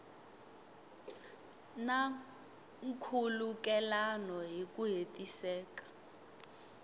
na nkhulukelano hi ku hetiseka